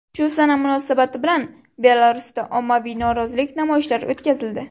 Shu sana munosabati bilan Belarusda ommaviy norozilik namoyishlari o‘tkazildi.